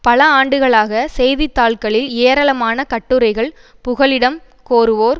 பல ஆண்டுகளாக செய்தித்தாட்களில் ஏராளமான கட்டுரைகள் புகலிடம் கோருவோர்